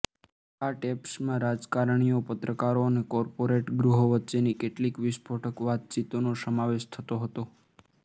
આ ટેપ્સમાં રાજકારણીઓ પત્રકારો અને કોર્પોરેટ ગૃહો વચ્ચેની કેટલીક વિસ્ફોટક વાતચીતનો સમાવેશ થતો હતો